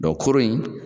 koro in